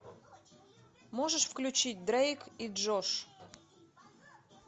можешь включить дрейк и джош